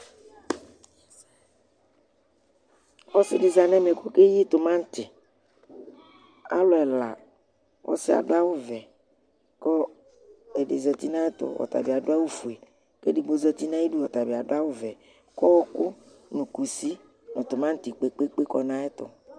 ɔsidi zɑnɛmɛ kɔkɛyi tomɑnti ɔluɛlɑ ɔsiɑduɑwu vɛ ɛdizạtinɑyɛtu ɔtɑbiɑdu ɑwufuɛ kɛdigbo zɑti nɑyidu ɔtɑbiɑdu ɑwuvɛ kɔoku nu kusi nu timɑnti kpɛkpɛkpɛ kɔnɑyɛtu